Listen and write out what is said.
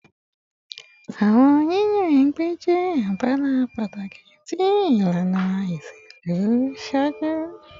Awọn yiyan ẹgbẹ jẹ abala pataki ti ilana iṣelu iṣaaju